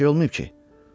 Bir şey olmayıb ki?